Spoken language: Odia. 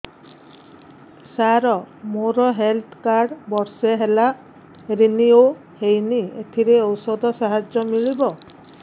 ସାର ମୋର ହେଲ୍ଥ କାର୍ଡ ବର୍ଷେ ହେଲା ରିନିଓ ହେଇନି ଏଥିରେ ଔଷଧ ସାହାଯ୍ୟ ମିଳିବ